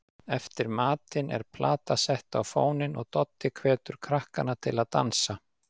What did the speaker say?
Eftir matinn er plata sett á fóninn og Doddi hvetur krakkana til að dansa.